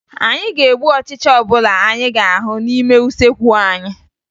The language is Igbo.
Anyị ga-egbu ọchịcha ọbụla anyị ga-ahụ n'ime usekwu anyị